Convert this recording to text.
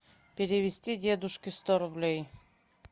перевести дедушке сто рублей